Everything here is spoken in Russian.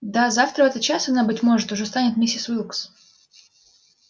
да завтра в этот час она быть может уже станет миссис уилкс